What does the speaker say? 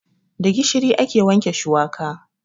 Da gishiri ake wanke shuwaka.